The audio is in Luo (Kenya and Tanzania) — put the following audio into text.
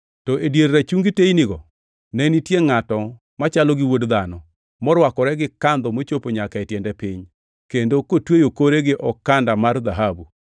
to e dier rachungi teynigo ne nitie ngʼato machalo gi wuod dhano + 1:13 \+xt Dan 7:13\+xt* morwakore gi kandho mochopo nyaka e tiende piny, kendo kotweyo kore gi okanda mar dhahabu.